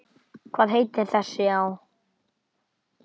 Hvað heitir þessi á?